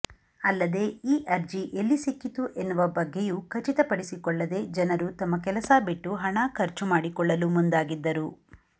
ಅಲ್ಲದೆ ಈ ಅರ್ಜಿ ಎಲ್ಲಿಸಿಕ್ಕಿತು ಎನ್ನುವ ಬಗ್ಗೆಯೂ ಖಚಿತಪಡಿಸಿಕೊಳ್ಳದೆ ಜನರು ತಮ್ಮ ಕೆಲಸ ಬಿಟ್ಟು ಹಣ ಖರ್ಚು ಮಾಡಿಕೊಳ್ಳಲು ಮುಂದಾಗಿದ್ದರು